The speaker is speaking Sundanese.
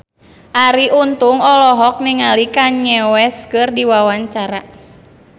Arie Untung olohok ningali Kanye West keur diwawancara